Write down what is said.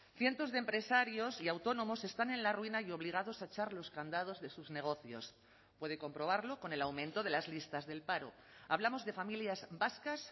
cientos de empresarios y autónomos están en la ruina y obligados a echar los candados de sus negocios puede comprobarlo con el aumento de las listas del paro hablamos de familias vascas